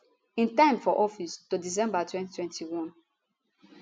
im time for office to december 2021